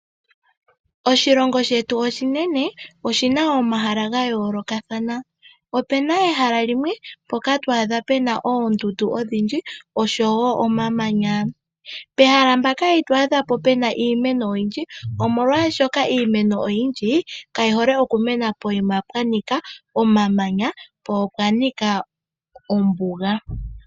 Oshilongo shetu oshinene, oshina omahala ga yoolokathana. Opena ehala limwe mpoka to adha pena oondundu odhindji, oshowo omamanya. Pehala mpaka ito adha po pena iimeno oyindji omolwashoka iimeno oyindji, kayi hole okumena poyima pwa nika omamanya, po opwa nika ombuga.